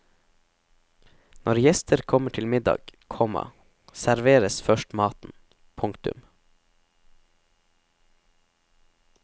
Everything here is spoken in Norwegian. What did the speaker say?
Når gjester kommer til middag, komma serveres først maten. punktum